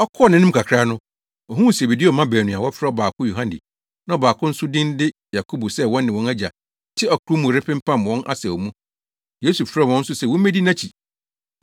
Ɔkɔɔ nʼanim kakra no, ohuu Sebedeo mma baanu a wɔfrɛ ɔbaako Yohane na ɔbaako nso din de Yakobo sɛ wɔne wɔn agya te ɔkorow mu repempam wɔn asau mu. Yesu frɛɛ wɔn nso se wommedi nʼakyi.